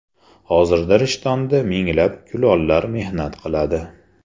Hozirda Rishtonda minglab kulollar mehnat qiladi.